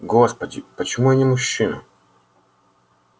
господи почему я не мужчина